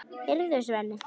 Heyrðu, Svenni!